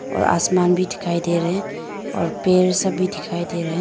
और आसमान भी दिखाई दे रहे हैं और पेड़ सब भी दिखाई दे रहे हैं।